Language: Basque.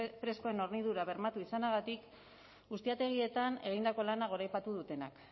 freskoen hornidura bermatu izanagatik ustiategietan egindako lana goraipatu dutenak